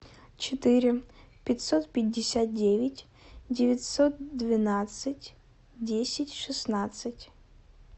четыре пятьсот пятьдесят девять девятьсот двенадцать десять шестнадцать